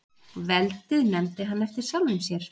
veldið nefndi hann eftir sjálfum sér